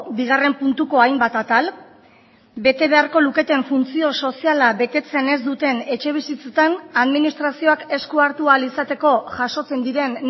bigarren puntuko hainbat atal bete beharko luketen funtzio soziala betetzen ez duten etxebizitzetan administrazioak esku hartu ahal izateko jasotzen diren